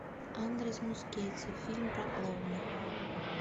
андрес мускетти фильм про клоуна